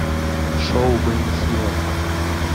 шоу бенни хилла